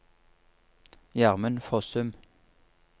Gjermund Fossum